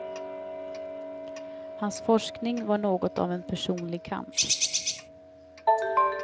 Hans forskning var något av en personlig kamp.